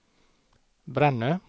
Brännö